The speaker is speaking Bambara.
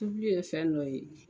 Tubili ye fɛn dɔ ye.